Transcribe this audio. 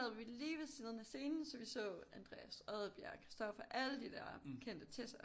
Sad vi lige ved siden af scenen så vi så Andreas Odbjerg Christopher alle de der kendte Tessa